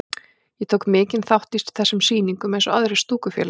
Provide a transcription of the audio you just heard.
Ég tók mikinn þátt í þessum sýningum eins og aðrir stúkufélagar.